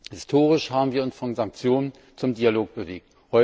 Historisch haben wir uns von Sanktionen zum Dialog bewegt.